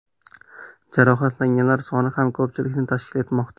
Jarohatlanganlar soni ham ko‘pchilikni tashkil etmoqda.